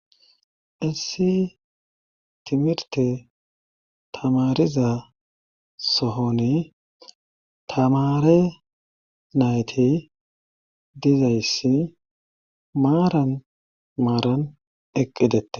Issi timirte tamariza sohoni tamare nayti dizayssi maaran maaran eqqidette.